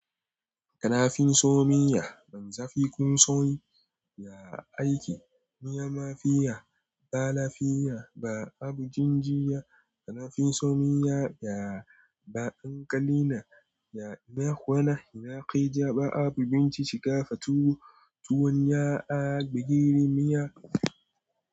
Kana fin son miya maiza fi kon son yi, ya aiki miya mafiya, ba lafiya ba, abu jinjiya. Kana fin son miya ya ba dankali na, ya ina kwana ina kai ja ba abu bincika fatuwo. Tuwon ya a gigeri miya.